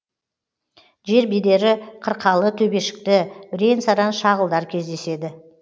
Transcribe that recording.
жер бедері қырқалы төбешікті бірен саран шағылдар кездеседі